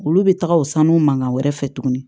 Olu bɛ taga o sanu mankan wɛrɛ fɛ tuguni